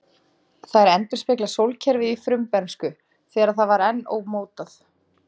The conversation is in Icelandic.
Þær endurspegla sólkerfið í frumbernsku, þegar það var enn ómótað.